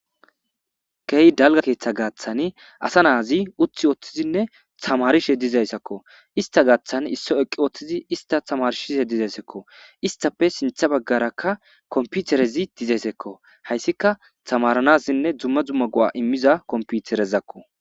Ke'i dalgga keeththa gaaththan asa naazi uththi ooththizinne tamarishshe dizayssakko ista gaaththan issoy eqqi uttidi ista tamarisishshe de'eesikko istappe sinththa baggarakka kompiterezi dizeeskko hayssika tamaranasinne dumma dumma go'a imiiza kompiterezakko